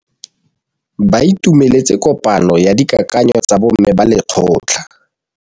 Ba itumeletse kôpanyo ya dikakanyô tsa bo mme ba lekgotla.